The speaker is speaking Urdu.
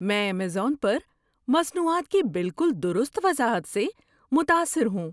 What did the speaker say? میں ایمیزون پر مصنوعات کی بالکل درست وضاحت سے متاثر ہوں۔